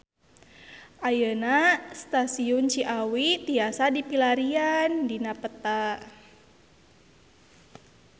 Ayeuna Stasiun Ciawi tiasa dipilarian dina peta